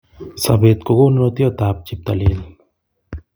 Sobet ko konunotiot tab cheptailel